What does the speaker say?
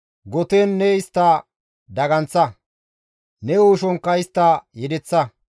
goten ne istta daganththa; ne uushonkka istta yedeththa.